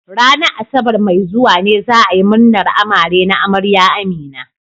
Ranar Asabar mai zuwa ne za a yi munar amare na amarya Amina.